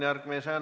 Aitäh!